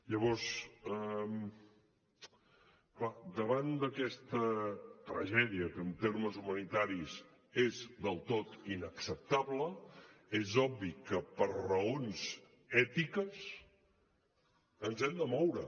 llavors clar davant d’aquesta tragèdia que en termes humanitaris és del tot inacceptable és obvi que per raons ètiques ens hem de moure